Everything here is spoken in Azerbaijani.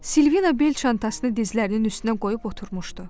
Silvina bel çantasını dizlərinin üstünə qoyub oturmuşdu.